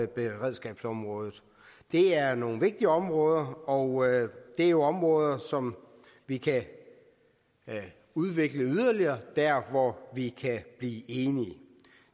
beredskabsområdet det er nogle vigtige områder og det er jo områder som vi kan udvikle yderligere der hvor vi kan blive enige